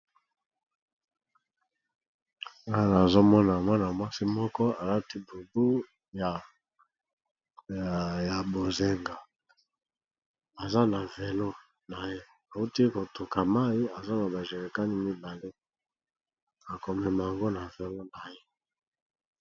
awa nazomona mwana mwasi moko alati bubu ya bozinga aza na velo na ye auti kotoka mai aza na bajerikani mibale akomema yango na velo na ye